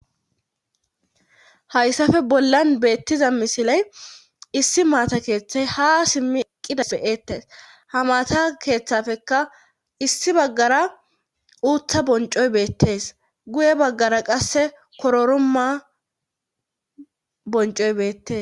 hayssafe bollan beettiza misilen issi maata keethey haa simmi eqqida be7eetes; ha maata keetafekka issi baggara uutta bonccoy beettes;guye baggara qasse kororuma bonccoy beetes.